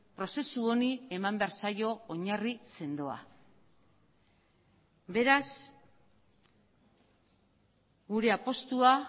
prozesu honi eman behar zaio oinarri sendoa beraz gure apustua